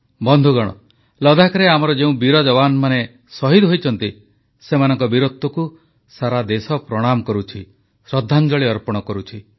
ବନ୍ଧୁଗଣ ଲଦ୍ଦାଖରେ ଆମର ଯେଉଁ ବୀର ଯବାନମାନେ ଶହୀଦ ହୋଇଛନ୍ତି ସେମାନଙ୍କ ବୀରତ୍ୱକୁ ସାରା ଦେଶ ପ୍ରଣାମ କରୁଛି ଶ୍ରଦ୍ଧାଞ୍ଜଳି ଅର୍ପଣ କରୁଛି